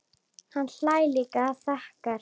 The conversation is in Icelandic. Hann hlær líka og þakkar.